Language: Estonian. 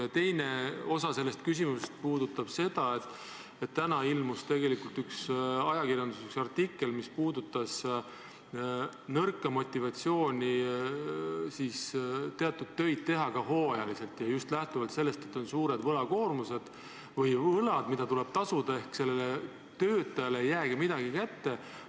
Ja teine osa mu küsimusest puudutab seda, et täna ilmus ajakirjanduses üks artikkel, mis puudutas nõrka motivatsiooni teha teatud töid hooajaliselt – just lähtuvalt sellest, et on suured võlakoormused, on võlad, mida tuleb tasuda, ja töötajale ei jäägi midagi kätte.